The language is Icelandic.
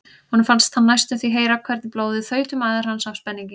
Honum fannst hann næstum því heyra hvernig blóðið þaut um æðar hans af spenningi.